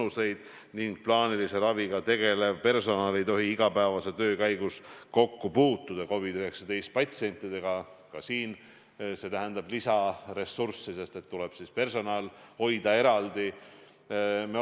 Seetõttu tuleb tõenäoliselt haiglates teha ümberkorraldusi selliselt, et terved või COVID-19-ga mittenakatunud patsiendid oleksid eraldatud ja oleksid võib-olla ka eraldi osakonnad.